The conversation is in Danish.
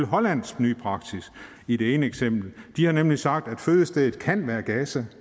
hollands nye praksis i det ene eksempel de har nemlig sagt at fødestedet kan være gaza